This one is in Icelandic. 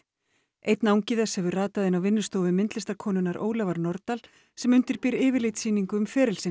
einn angi þess hefur ratað inn á vinnustofu Ólafar Nordal sem undirbýr yfirlitssýningu um feril sinn